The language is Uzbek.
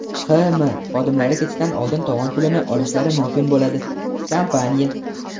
H&M xodimlari ketishdan oldin tovon pulini olishlari mumkin bo‘ladi – kompaniya.